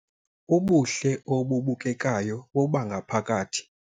Ubuhle obubukekayo bobangaphakathi